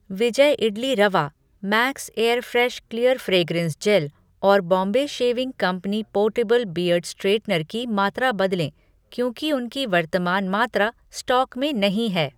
विजय idli rava, Max Airfresh clear fragrance gel और Bombay shaving company portable beard straightener की मात्रा बदलें क्योंकि उनकी वर्तमान मात्रा स्टॉक में नहीं है।